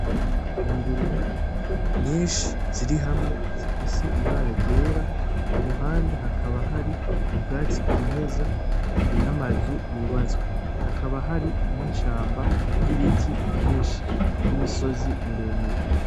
Ingurube nyinshi ziri hamwe zifise ibara ryera, iruhande hakaba hari ubwatsi bwimeza namazu yubatswe. Hakaba hari n'ishamba ryimeza, n'imisozi miremire.